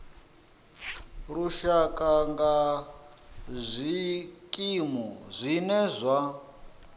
lushaka nga zwikimu zwine zwa